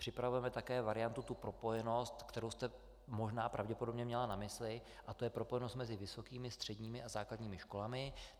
Připravujeme také variantu, tu propojenost, kterou jste možná pravděpodobně měla na mysli, a to je propojenost mezi vysokými, středními a základními školami.